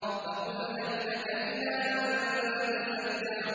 فَقُلْ هَل لَّكَ إِلَىٰ أَن تَزَكَّىٰ